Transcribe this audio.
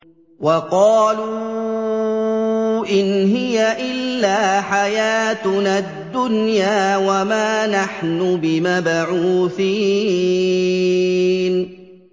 وَقَالُوا إِنْ هِيَ إِلَّا حَيَاتُنَا الدُّنْيَا وَمَا نَحْنُ بِمَبْعُوثِينَ